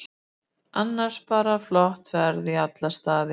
Annars bara flott ferð í alla staði.